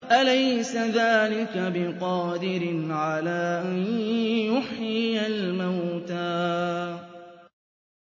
أَلَيْسَ ذَٰلِكَ بِقَادِرٍ عَلَىٰ أَن يُحْيِيَ الْمَوْتَىٰ